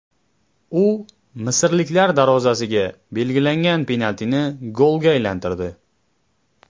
U misrliklar darvozasiga belgilagan penaltini golga aylantirdi.